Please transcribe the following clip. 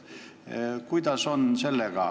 Kuidas sellega on?